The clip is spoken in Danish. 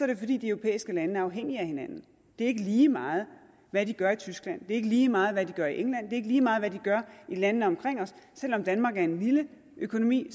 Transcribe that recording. det fordi de europæiske lande er afhængige af hinanden det er ikke lige meget hvad de gør i tyskland er ikke lige meget hvad de gør i england det lige meget hvad de gør i landene omkring os selv om danmark er en lille økonomi